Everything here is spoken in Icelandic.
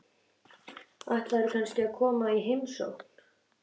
Ætlarðu kannski að koma í heimsókn?